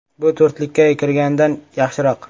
Bu to‘rtlikka kirgandan yaxshiroq.